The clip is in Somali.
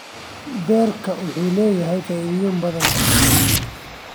Beerka waxa uu leeyahay faa'iidooyin badan.